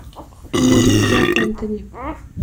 люли жак энтони